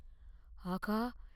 ஆகா!